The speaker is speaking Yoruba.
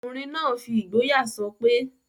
Ọkùnrin náà n fi ìgboyà sọpé...